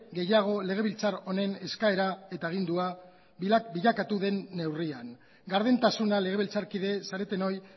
gehiago legebiltzar honen eskaera eta agindua bilakatu den neurrian gardentasuna legebiltzar kide zaretenoi